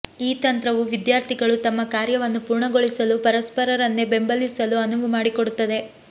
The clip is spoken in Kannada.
ಈ ತಂತ್ರವು ವಿದ್ಯಾರ್ಥಿಗಳು ತಮ್ಮ ಕಾರ್ಯವನ್ನು ಪೂರ್ಣಗೊಳಿಸಲು ಪರಸ್ಪರರನ್ನೇ ಬೆಂಬಲಿಸಲು ಅನುವು ಮಾಡಿಕೊಡುತ್ತದೆ